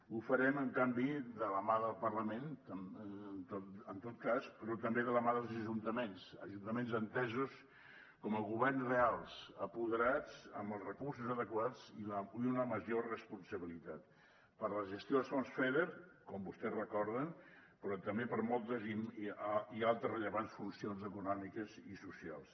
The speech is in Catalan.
ho farem en canvi de la mà del parlament en tot cas però també de la mà dels ajuntaments ajuntaments entesos com a governs reals apoderats amb els recursos adequats i una major responsabilitat per a la gestió dels fons feder com vostès recorden però també per a moltes i altres rellevants funcions econòmiques i socials